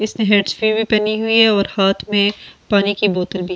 इसने हैंड्सफी भी पहनी हुई है और हाथ में पानी की बोतल भी--